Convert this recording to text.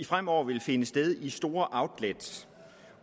fremover vil finde sted i store outlets